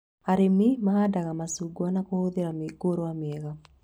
Arĩmi mahandaga macungwa na kũhũthĩra mĩũngũrwa mĩega